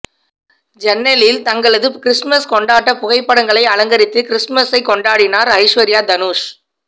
ஜன்னலில் தங்களது கிறிஸ்துமஸ் கொண்டாட்ட புகைப்படங்களை அலங்கரித்து கிறிஸ்துமஸைக் கொண்டாடினார் ஐஸ்வர்யா தனுஷ்